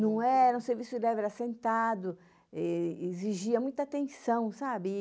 Não era, um serviço leve era sentado, eh exigia muita atenção, sabe?